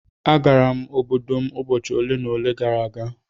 Agara m obodo m ụbọchị ole na ole gara aga.